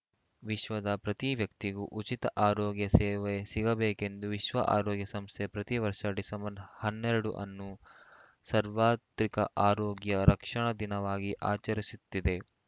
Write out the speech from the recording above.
ವಿಶ್ವದ ಪ್ರತಿ ವ್ಯಕ್ತಿಗೂ ಉಚಿತ ಆರೋಗ್ಯ ಸೇವೆ ಸಿಗಬೇಕೆಂದು ವಿಶ್ವ ಆರೋಗ್ಯ ಸಂಸ್ಥೆ ಪ್ರತಿ ವರ್ಷ ಡಿಸೆಂಬರ್ ಹನ್ನೆರಡು ಅನ್ನು ಸರ್ವಾತ್ರಿಕ ಆರೋಗ್ಯ ರಕ್ಷಣಾ ದಿನವಾಗಿ ಆಚರಿಸುತ್ತಿದೆ